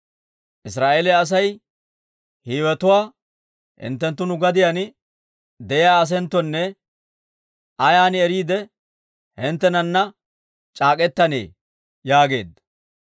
Israa'eeliyaa Asay Hiiwetuwaa, «Hinttenttu nu gadiyaan de'iyaa asenttonne, ayan eriide hinttenana c'aak'k'etannee?» yaageedda.